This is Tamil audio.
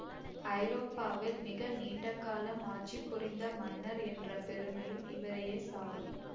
ஐரோப்பாவில் மிக நீண்டகாலம் ஆட்சிபுரிந்த மன்னர் என்ற பெருமையும் இவரையே சாரும்